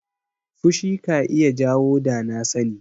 Fushi ka iya jawo danasani.